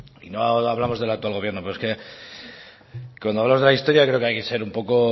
y no hablamos del actual gobierno pero es que cuando hablamos de la historia creo que hay que ser un poco